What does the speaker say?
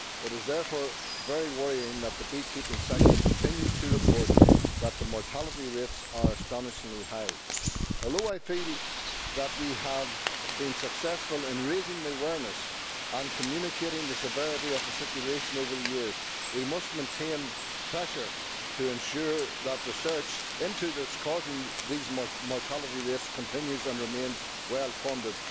It is therefore very worrying that the beekeeping sector continues to report that the mortality rates are astonishingly high. Although I feel that we have been successful in raising the awareness and communicating the severity of the situation over the years, we must maintain pressure to ensure that research into the cause of these mortality rates continues and remains well funded.